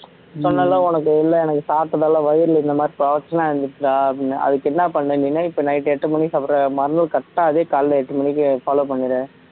சொன்னன்ல உனக்கு இல்ல எனக்கு சாப்பிட்டதால வயிறு இந்த மாதிரி இருந்துச்சுடா அப்படின்னு அதுக்கு என்ன பண்ண நீன்னா இப்ப night எட்டு மணிக்கு சாப்பிடுற மறுநாள் correct ஆ அதே காலையில எட்டு மணிக்கு follow பண்ணிடு